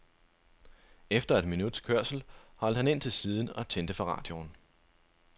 Efter et minuts kørsel holdt han ind til siden og tændte for radioen.